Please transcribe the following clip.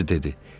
Elədi dedi.